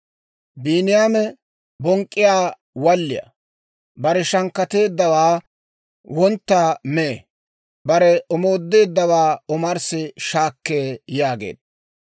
Biiniyaame bonk'k'iyaa walliyaa. Bare shankkateeddawaa wontta mee; bare omoodeeddawaa omarssi shaakkee» yaageedda.